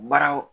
Baaraw